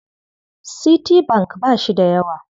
Citibank ba shi da yawa.